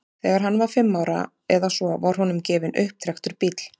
Þegar hann var fimm ára eða svo var honum gefinn upptrekktur bíll.